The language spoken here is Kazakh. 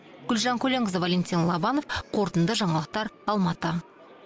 гүлжан көленқызы валентин лобанов қорытынды жаңалықтар алматы